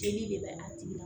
Jeli de bɛ a tigi la